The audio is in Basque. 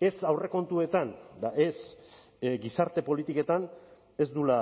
ez aurrekontuetan eta ez gizarte politiketan ez duela